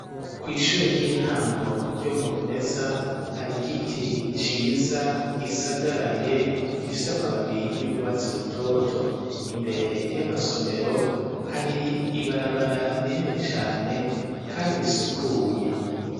Kw' ishure ry'intango, ryo mu rumeza, hari giti Ciza, gisagaraye gifise amababi y'ugwatsi rutoto, imbere y'amasomero hari ibarabara rinini cane kandi risukuye.